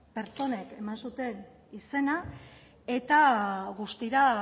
pertsonek eman zuten izena eta guztira